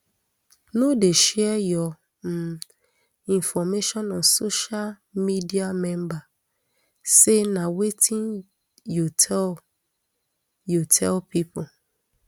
no dey share your um information on social mediaremember say na wetin you tell you tell pipo